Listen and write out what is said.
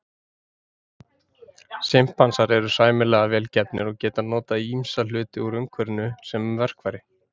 Simpansar eru sæmilega vel gefnir og geta notað ýmsa hluti úr umhverfinu sem verkfæri.